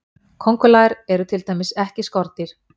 Köngulær eru til dæmis ekki skordýr.